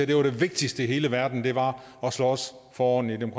det vigtigste i hele verden var at slås for ordentlige